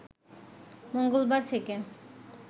মঙ্গলবার থেকে